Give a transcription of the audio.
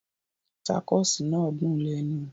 Tacos náà dùn lẹ́nu